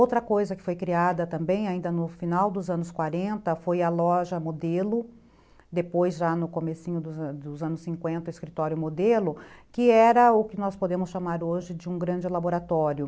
Outra coisa que foi criada também ainda no final dos anos quarenta foi a loja modelo, depois já no comecinho dos anos cinquenta, escritório modelo, que era o que nós podemos chamar hoje de um grande laboratório.